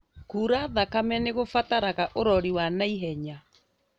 Kura thakame nĩgũbataraga ũrori wa na ihenya